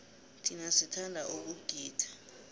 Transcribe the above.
thina sithanda ukugida